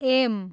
am